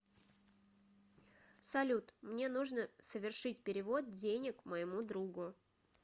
салют мне нужно совершить перевод денег моему другу